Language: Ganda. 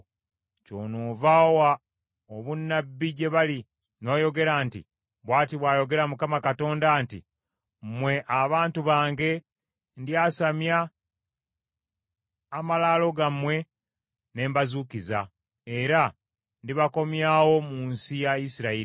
Kyonoova owa obunnabbi gye bali n’oyogera nti, ‘Bw’ati bw’ayogera Mukama Katonda nti, Mmwe abantu bange, ndyasamya amalaalo gammwe ne mbazuukiza, era ndibakomyawo mu nsi ya Isirayiri.